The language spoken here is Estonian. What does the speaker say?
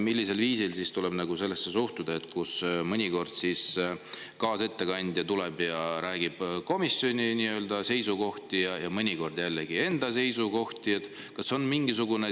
Millisel viisil suhtuda sellesse, kui mõnikord kaasettekandja tuleb ja räägib komisjoni seisukohti ja mõnikord enda seisukohti?